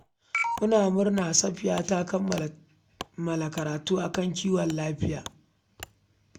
Muna murna, Safiya ta kammala karatunta a fannin kiwon lafiya